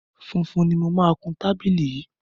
Funfun ni mo máa kun tábìlì yìí.